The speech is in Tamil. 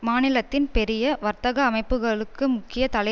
மாநிலத்தின் பெரிய வர்த்தக அமைப்புக்களுக்கு முக்கிய தலை